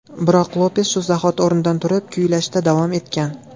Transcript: Biroq Lopes shu zahoti o‘rnidan turib, kuylashda davom etgan.